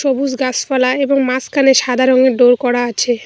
সবুজ গাছপালা এবং মাঝখানে সাদা রঙের ডোর করা আছে।